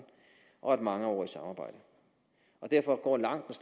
og et mangeårigt samarbejde derfor går langt